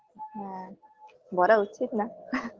হ্যাঁ বলা উচিত না